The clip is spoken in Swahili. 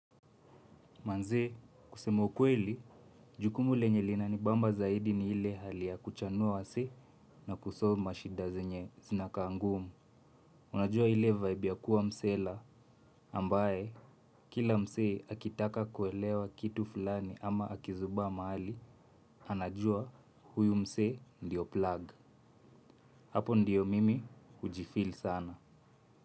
Manee, kusema ukweli, jukumu lenye linanibamba zaidi ni ile hali ya kuchanua wasee na kusolve mashida zenye zinakaa ngumu. Unajua ile vibe ya kuwa msela ambaye kila msee akitaka kuelewa kitu fulani ama akizubaa mahali, anajua huyu msee ndiyo plug. Hapo ndiyo mimi hujifeel sana.